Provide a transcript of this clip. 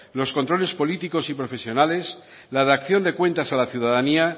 los controles políticos y profesionales la dación de cuentas a la ciudadanía